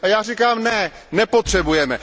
Já říkám ne, nepotřebujeme.